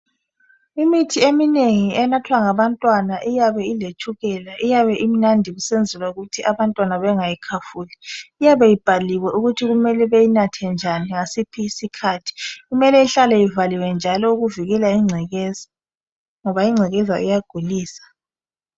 Imithi eminengi enathwa ngabantwana iyabe iletshukela iyabe imnandi kusenzelwa ukuthi abantwana bengayikhafuli. Iyabe ibhaliwe ukuthi beyinathe njani, ngasiphi isikhathi. Kumele ihlale ivaliwe njalo ukuvikela ingcekeza ngoba ingcekekeza iyagulisa.